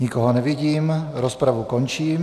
Nikoho nevidím, rozpravu končím.